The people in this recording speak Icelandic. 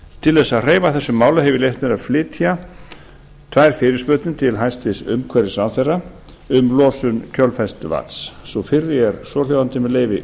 til þess að hreyfa þessu máli hef ég leyft mér að flytja tvær fyrirspurnir til hæstvirts umhverfisráðherra um losun kjölfestuvatns sú fyrri er svohljóðandi með leyfi